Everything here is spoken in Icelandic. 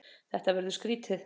Þetta verður skrýtið.